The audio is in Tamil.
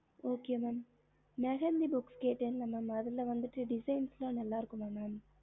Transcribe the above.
ஹம்